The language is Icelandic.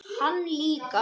Hann líka.